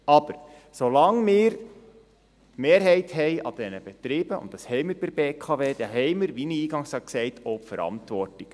Aber solange wir die Mehrheit an diesen Betrieben haben – und das haben wir bei der BKW – dann haben wir, wie ich eingangs sagte, auch die Verantwortung.